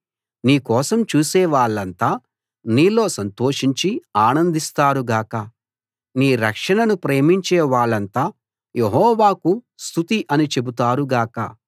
నీ కోసం చూసే వాళ్ళంతా నీలో సంతోషించి ఆనందిస్తారు గాక నీ రక్షణను ప్రేమించే వాళ్ళంతా యెహోవాకు స్తుతి అని చెబుతారు గాక